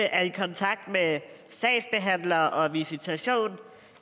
er i kontakt med sagsbehandlere og visitation